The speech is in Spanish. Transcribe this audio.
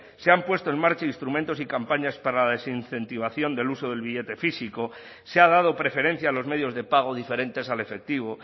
se han puesto en marcha instrumentos y campañas para la desincentivación del uso del billete físico se ha dado preferencia a los medios de pago diferentes al efectivo